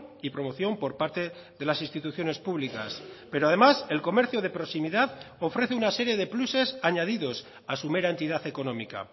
y promoción por parte de las instituciones públicas pero además el comercio de proximidad ofrece una serie de pluses añadidos a su mera entidad económica